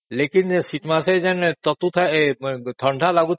କିନ୍ତୁ ଶୀତ ମାସେ ଯୋଉ ଥଣ୍ଡା ଲାଗୁଥାଏ